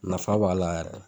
Nafa b'a la yɛrɛ.